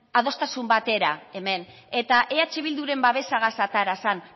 adostasun batera hemen eta eh bilduren babesagaz atera zen